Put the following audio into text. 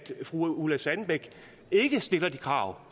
fru ulla sandbæk ikke stiller de krav